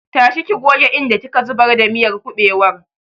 Tashi ki goge inda ki ka zubar da miyar kuɓewar!